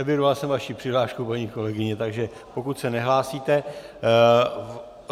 Evidoval jsem vaši přihlášku, paní kolegyně, takže pokud se nehlásíte...